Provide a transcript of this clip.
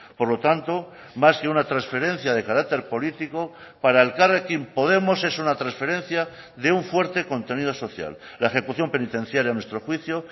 por lo tanto más que una transferencia de carácter político para elkarrekin podemos es una transferencia de un fuerte contenido social la ejecución penitenciaria a nuestro juicio